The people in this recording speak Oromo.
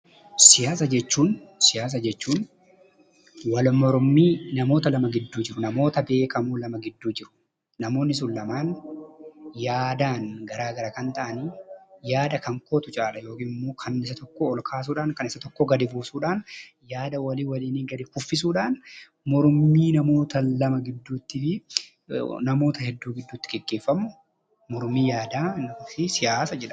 Siyaasa jechuun wal mormii namoota lama gidduu jiru, namoota beekamoo lama gidduu jiru. Namoonni sun lamaan yaadaan garaa gara kan ta'ani yaada kan kootu caala yookiin immoo kan isa tokkoo ol kaasuudhaan kan isa tokkoo gadi buusuudhaan, yaada walii waliinii gadi kuffisuudhaan mormii namoota lama gidduutti fi namoota hedduu gidduutti gaggeeffamu mormii yaadaa fi siyaasa jedhama.